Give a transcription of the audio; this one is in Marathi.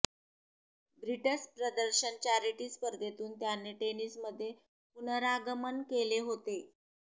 ब्रिट्स प्रदर्शन चॅरिटी स्पर्धेतून त्याने टेनिसमध्ये पुनरागमन केले होते